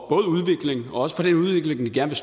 både udvikling og også for den udvikling vi gerne